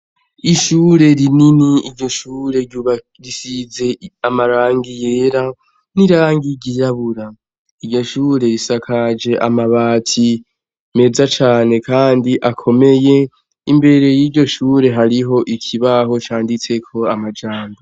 Ishure rinini iryo shure rubagisize amarangi yera n'irangi igiyabura iryo shure risakaje amabati meza cane, kandi akomeye imbere y'iryo shure hariho ikibaho canditseko amajango.